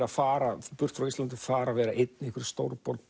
að fara burt frá Íslandi fara og vera einn í einhverri stórborg